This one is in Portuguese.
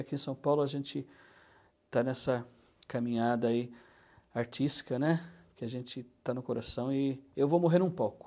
Aqui em São Paulo a gente está nessa caminhada aí, artística, que a gente está no coração e eu vou morrendo um pouco.